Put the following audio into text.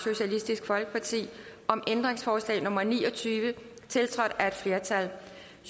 om ændringsforslag nummer ni og tyve tiltrådt af et flertal